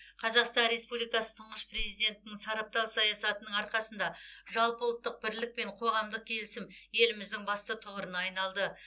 қазақстан республикасы тұңғыш президентінің сарабдал саясатының арқасында жалпы ұлттық бірлік пен қоғамдық келісім еліміздің басты тұғырына айналды